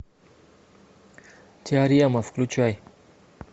теорема включай